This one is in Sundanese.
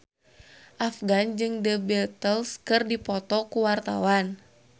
Afgan jeung The Beatles keur dipoto ku wartawan